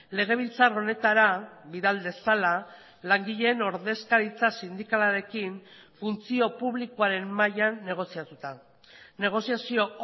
legebiltzar honetara bidal dezala langileen ordezkaritza sindikalarekin funtzio publikoaren mailan negoziatuta negoziazio